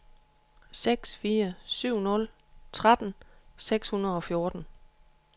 seks fire syv nul tretten seks hundrede og fjorten